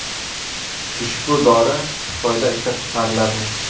Ushbu dori Xitoyda ishlab chiqariladi.